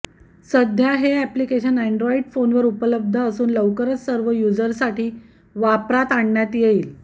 सध्या हे application Android फोनवर उपलब्ध असून लवकरच सर्व युजरसाठी वापरात आणण्यात येईल